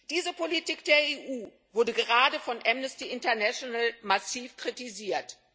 Diese Politik der EU wurde gerade von Amnesty International massiv kritisiert.